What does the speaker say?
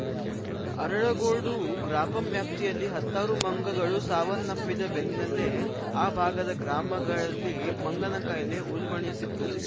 ಅರಳಗೋಡು ಗ್ರಾಪಂ ವ್ಯಾಪ್ತಿಯಲ್ಲಿ ಹತ್ತಾರು ಮಂಗಗಳು ಸಾವನ್ನಪ್ಪಿದ ಬೆನ್ನಲ್ಲೇ ಆ ಭಾಗದ ಗ್ರಾಮಗಳಲ್ಲಿ ಮಂಗನಕಾಯಿಲೆ ಉಲ್ಭಣಿಸಿತ್ತು